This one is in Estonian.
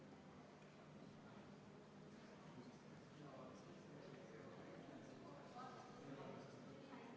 Jaamas abi tagamine eeldab selleks lisapersonali palkamist ja tekitab seega olulisi lisakulusid raudteeveo-ettevõtjale, mistõttu jäetakse artikkel 22 veel järgnevaks viieks aastaks kohaldamata.